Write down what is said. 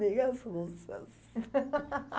Nem as russas.